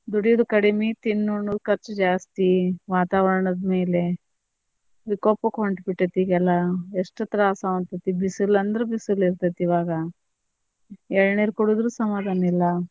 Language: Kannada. ದುಡುಯುದು ಕಡಿಮಿ ತಿನ್ನಣ್ಣುದು ಖರ್ಚ ಜಾಸ್ತಿ, ವಾತಾವರಣದ ಮೇಲೆ ವಿಕೋಪಕ್ ಹೊಂಟಬಿಟ್ಟೇತಿಗೇಲ್ಲಾ ಎಷ್ಟ ತ್ರಾಸ್ ಆಗಾಂತೇತಿ ಬಿಸಲ ಅಂದ್ರ ಬಿಸಲ ಇರತೇತಿ ಇವಾಗ ಎಳನೀರು ಕುಡದರು ಸಮಾದಾನ ಇಲ್ಲಾ.